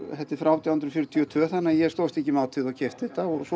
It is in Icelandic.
þetta er frá átján hundruð fjörutíu og tvö þannig að ég stóðst ekki mátið og keypti þetta og